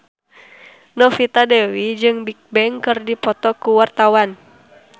Novita Dewi jeung Bigbang keur dipoto ku wartawan